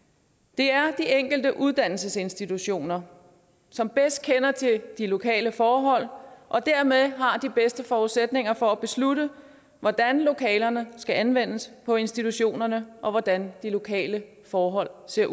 det er de enkelte uddannelsesinstitutioner som bedst kender til de lokale forhold og dermed har de bedste forudsætninger for at beslutte hvordan lokalerne skal anvendes på institutionerne og hvordan de lokale forhold skal